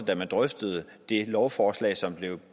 til man drøftede det lovforslag som blev